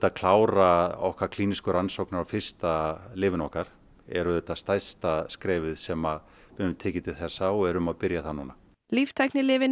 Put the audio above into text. að klára okkar klínísku rannsóknir á fyrsta lyfinu okkar er auðvitað stærsta skrefið sem við höfum tekið til þessa og við erum að byrja það núna líftæknilyfin